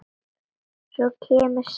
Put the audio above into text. Og svo kemur saga